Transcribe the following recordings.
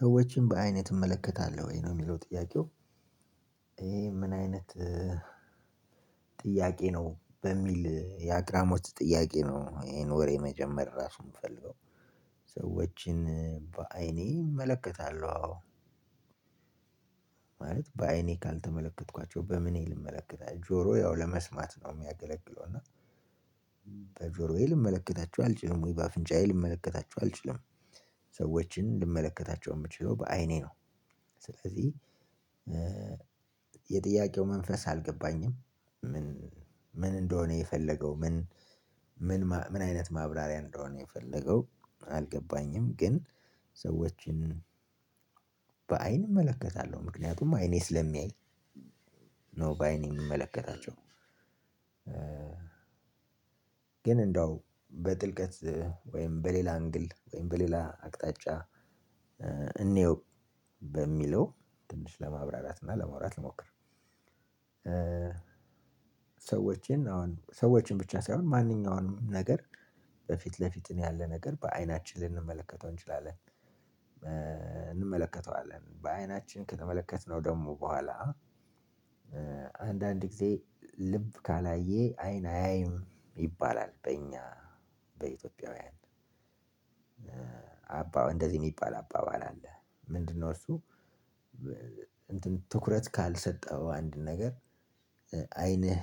ሰዎችን በአይንህ ትመለከታለሁ ወይ ነው የሚለው ጥያቄው ይሄ ምን አይነት ጥያቄ ነው በሚል የአግራሞት ጥያቄ ነው። ይሄን ወሬ መጀመር ራሱን የምፈልገው። ሰዎችን በአይኔ እመለከታለሁ። አዎ ማለት በአይኔ ካልተመለከትኳቸው በምኔ ልመለከታቸው ጆሮ ያው ለመስማት ነው የሚያገለግለው እና በጆሮዬ ልመለከታቸው አልችልም ወይ በአፍንጫዬ ልመለከታቸው አልችልም። ሰዎችን ልመለከታቸው የምችለው በአይኔ ነው። ስለዚህ የጥያቄው መንፈስ አልገባኝም። ምን እንደሆነ የፈለገው ምን ምን ምን አይነት ማብራሪያ እንደሆነ የፈለገው አልገባኝም። ግን ሰዎችን በአይን እመለከታለሁ ምክንያቱም አይኔ ስለሚያይ ነው በአይኔ የሚመለከታቸው። ግን እንደው በጥልቀት ወይም በሌላ አንግል ወይም በሌላ አቅጣጫ እንየው በሚለው ትንሽ ለማብራራት እና ለማውራት ልሞክር። ሰዎችን አሁን ሰዎችን ብቻ ሳይሆን ማንኛውንም ነገር በፊት ለፊት ያለ ነገር በአይናችን ልንመለከተው እንችላለን። እንመለከተዋለን በአይናችን ከተመለከትነው ደግሞ በኋላ አንዳንድ ጊዜ ልብ ካላየ አይን አያይም ይባላል። በእኛ በኢትዮጵያውያን አባ እንደዚህ የሚባል አባባል አለ። ምንድን ነው እሱ? እንትን ትኩረት ካልሰጠኸው አንድ ነገር አይንህ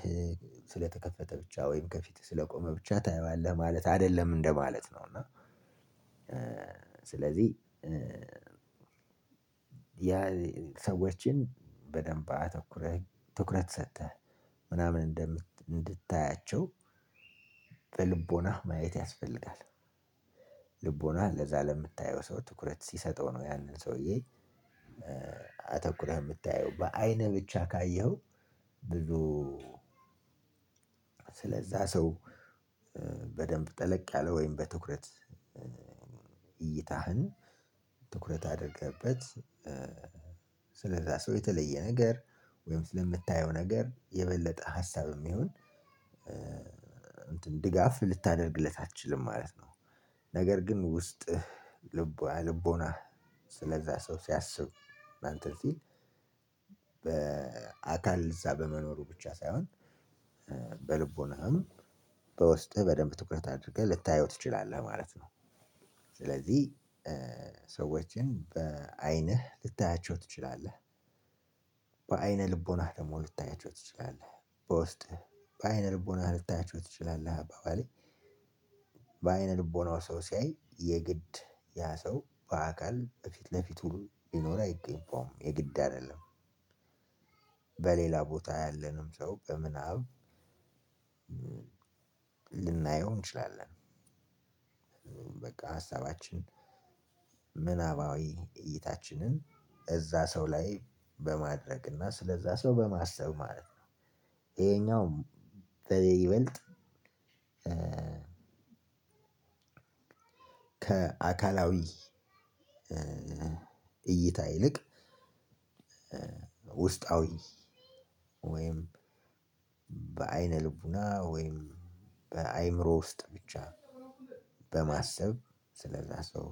ስለተከፈተ ብቻ ወይም ከፊትህ ስለቆመ ብቻ ታየዋለህ ማለት አይደለም እንደማለት ነው። እና ስለዚህ ያ ሰዎችን በደንብ አተኩረህ ትኩረት ሰጥተህ ምናምን እንድታያቸው በልቦና ማየት ያስፈልጋል። ልቦና ለዛ ለምታየው ሰው ትኩረት ሲሰጠው ነው ያንን ሰውዬ አተኩረህ የምታየው በአይነህ ብቻ ካየኸው። ብዙ ስለዛ ሰው በደንብ ጠለቅ ያለ ወይም በትኩረት እይታህን ትኩረት አድረገህበት ስለዛ ሰው የተለየ ነገር ወይም ስለምታየው ነገር የበለጠ ሀሳብም ይሁን እንትን ድጋፍ ልታደርግለት አትችልም ማለት ነው። ነገር ግን ውስጥህ ልቦ ልቦናህ ስለዛ ሰው ሲያስብ እንትን ሲል በአካል እዛ በመኖሩ ብቻ ሳይሆን በልቦናህም በውስጥህ በደንብ ትኩረት አድርገህ ልታየው ትችላለህ ማለት ነው። ስለዚህ ሰዎችን በአይንህ ልታያቸው ትችላለህ። በአይነ ልቦናህ ደግሞ ልታያችሁ ትችላለህ በውስጥህ በአይነ ልቦናህ ልታያችሁ ትችላለህ። አባባሌ በአይነ ልቦናው ሰው ሲያይ የግድ ያ ሰው በአካል በፊት ለፊት ሁሉ ይኖር አይገኝባውም የግድ አይደለም። በሌላ ቦታ ያለንም ሰው በምናብ ልናየው እንችላለን። በቃ ሀሳባችን ምናባዊ እይታችንን እዛ ሰው ላይ በማድረግ እና ስለዛ ሰው በማሰብ ማለት ነው። ይሄኛው ይበልጥ ከአካላዊ እይታ ይልቅ ውስጣዊ ወይም በአይነ ልቦና ወይም በአእምሮ ውስጥ ብቻ በማሰብ ስለዛ ሰው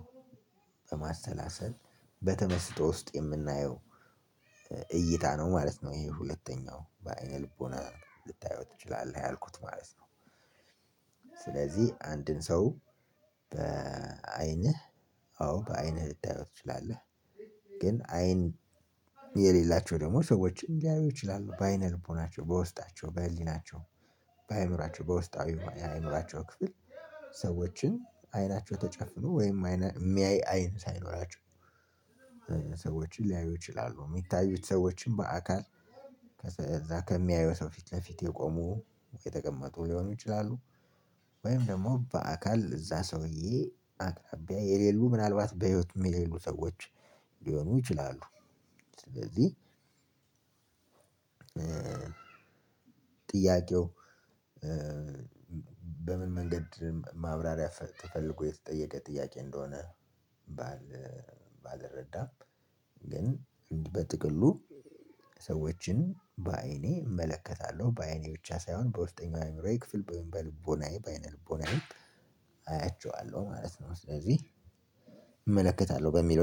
በማሰላሰል በተመስጦ ውስጥ የምናየው እይታ ነው ማለት ነው። ይሄ ሁለተኛው በአይነ ልቦና ልታዩት ትችላለህ ያልኩት ማለት ነው። ስለዚህ አንድን ሰው በአይንህ አዎ በአይንህ ልታየው ትችላለህ። ግን አይን የሌላቸው ደግሞ ሰዎችን ሊያዩ ይችላሉ በአይነ ልቦናቸው በውስጣቸው በህሊናቸው በአእምሮአቸው በውስጣዊ አእምሮአቸው ክፍል ሰዎችን አይናቸው ተጨፍኖ ወይም አይነ የሚያይ አይን ሳይኖራቸው ሰዎችን ሊያዩ ይችላሉ። የሚታዩት ሰዎችን በአካል ከዛ ከሚያየው ሰው ፊት ለፊት የቆሙ የተቀመጡ ሊሆኑ ይችላሉ። ወይም ደግሞ በአካል እዛ ሰውዬ አቅራቢያ የሌሉ ምናልባት በህይወት የሌሉ ሰዎች ሊሆኑ ይችላሉ። ስለዚህ ጥያቄው በምን መንገድ ማብራሪያ ተፈልጎ የተጠየቀ ጥያቄ እንደሆነ ባል ባልረዳም። ግን በጥቅሉ ሰዎችን በአይኔ እመለከታለሁ በአይኔ ብቻ ሳይሆን በውስጠኛው አእምሮዬ ክፍል በልቦናዬ በአይነ ልቦናዬ አያቸዋለሁ ማለት ነው። ስለዚህ እመለከታለሁ በሚለው